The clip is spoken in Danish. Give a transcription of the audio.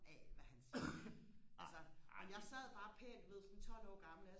af hvad han siger altså men jeg sad bare pænt du ved sådan tolv år gammel